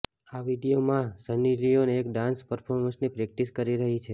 આ વીડિયોમાં સની લિયોન એક ડાન્સ પર્ફોર્મન્સની પ્રેક્ટિસ કરી રહી છે